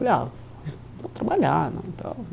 Falei, ah, vou trabalhar né e tal.